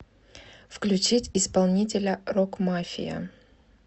включить исполнителя рокмафия